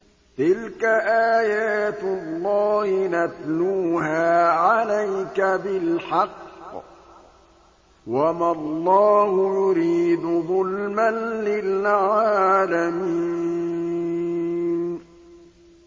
تِلْكَ آيَاتُ اللَّهِ نَتْلُوهَا عَلَيْكَ بِالْحَقِّ ۗ وَمَا اللَّهُ يُرِيدُ ظُلْمًا لِّلْعَالَمِينَ